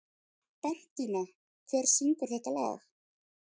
Bentína, hver syngur þetta lag?